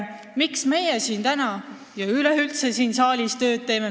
Miks me siin saalis üldse tööd teeme?